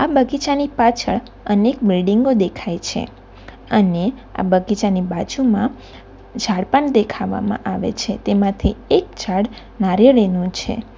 બગીચાની પાછળ અનેક બિલ્ડીંગો દેખાય છે અને આ બગીચાની બાજુમાં ઝાડ પણ દેખાવામાં આવે છે તેમાંથી એક ઝાડ નારિયેળીનું છે.